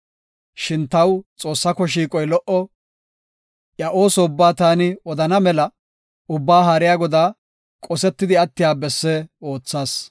Shin taw Xoossaako shiiqoy lo77o; iya ooso ubbaa taani odana mela, Ubbaa Haariya Godaa qosetidi attiya besse oothas.